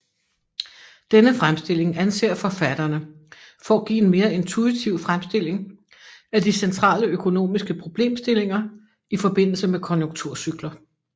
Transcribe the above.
Denne fremstilling anser forfatterne for at give en mere intuitiv fremstilling af de centrale økonomiske problemstillinger i forbindelse med konjunkturcykler